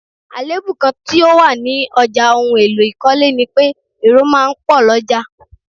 Àléébù kán tí ó wà ní ọjà ohùn èlò ikọle ni pé èrò máa ń pò l'oja